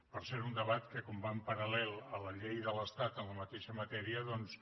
per cert un debat que com va en paral·lel amb la llei de l’estat en la mateixa matèria doncs